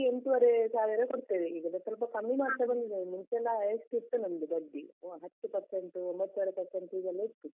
ಎಂಟುವರೆ ಸಾವಿರ ಕೊಡ್ತೇವೆ ಈಗ ಎಲ್ಲ ಸ್ವಲ್ಪ ಕಮ್ಮಿ ಮಾಡ್ತಾ ಬಂದಿದಾರೆ ಮುಂಚೆಯೆಲ್ಲ highest ಇತ್ತು ನಮ್ದು ಬಡ್ಡಿ, ಹತ್ತು percent , ಒಂಭತ್ತೂವರೆ percent ಹೀಗೆಲ್ಲ ಇತ್ತು.